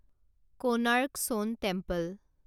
Konark sun temple